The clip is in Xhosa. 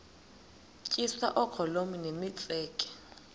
tyiswa oogolomi nemitseke